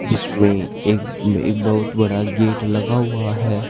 जिसमें एक एक बहुत बड़ा गेट लगा हुआ है।